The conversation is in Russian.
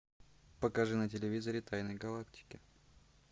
покажи на телевизоре тайны галактики